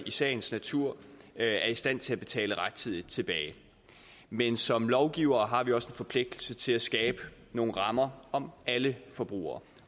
sagens natur er i stand til at betale rettidigt tilbage men som lovgivere har vi også en forpligtelse til at skabe nogle rammer om alle forbrugere